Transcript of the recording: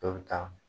Dɔw bɛ taa